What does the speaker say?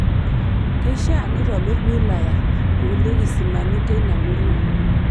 Keishaa neitobir wilaya nkulie kisimani teina murua